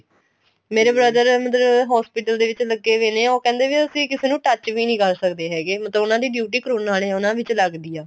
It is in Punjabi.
ਮੇਰੇ ਮਤਲਬ hospital ਦੇ ਵਿੱਚ ਲੱਗੇ ਪਾਏ ਨੇ ਉਹ ਕਹਿੰਦੇ ਅਸੀਂ ਕਿਸੇ ਨੂੰ touch ਵੀ ਨਹੀਂ ਕਰ ਸਕਦੇ ਹੈਗੇ ਮਤਲਬ ਉਨ੍ਹਾਂ ਦੀ duty ਕਰੋਨਾ ਵਾਲੇ ਉਹਦੇ ਵਿੱਚ ਲੱਗਦੀ ਆ